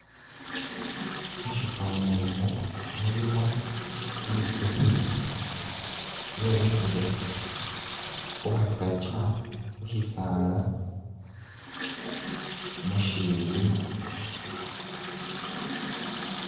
Musyifwani imu mulimu itsukhi, yemikhile khukhasakya, khusyisala musyilima.